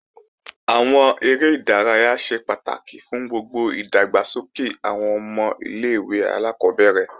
Àwọn eré ìdárayá ṣe pàtàkì fún gbogbo ìdàgbàsókè àwọn ọmọ ilé-ìwé alákọ́bẹ̀rẹ̀